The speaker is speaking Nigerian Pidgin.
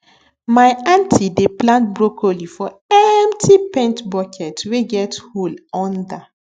my aunty dey plant broccoli for empty paint bucket wey get hole under